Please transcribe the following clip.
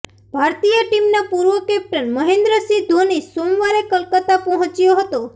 ભારતીય ટીમના પૂર્વ કેપ્ટન મહેન્દ્રસિંહ ધોની સોમવારે કલકત્તા પહોંચ્યો હતો